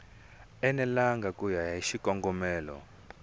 enelangi ku ya hi xikongomelo